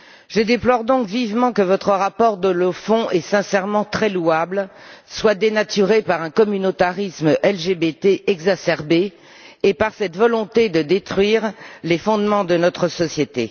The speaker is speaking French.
Je déplore donc vivement que votre rapport, dont le fond est sincèrement très louable, soit dénaturé par un communautarisme LGBT exacerbé et par cette volonté de détruire les fondements de notre société.